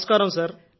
నమస్కారం సార్